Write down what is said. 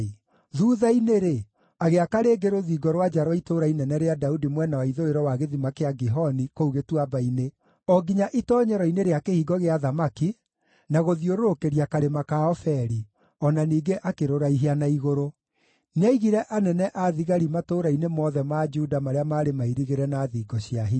Thuutha-inĩ-rĩ, agĩaka rĩngĩ rũthingo rwa nja rwa Itũũra Inene rĩa Daudi mwena wa ithũĩro wa gĩthima kĩa Gihoni kũu gĩtuamba-inĩ, o nginya itoonyero-inĩ rĩa Kĩhingo gĩa Thamaki, na gũthiũrũrũkĩria karĩma ka Ofeli; o na ningĩ akĩrũraihia na igũrũ. Nĩaigire anene a thigari matũũra-inĩ mothe ma Juda marĩa maarĩ mairigĩre na thingo cia hinya.